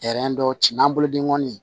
dɔw ci n'an bolo denkɔni